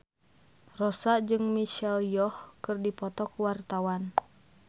Rossa jeung Michelle Yeoh keur dipoto ku wartawan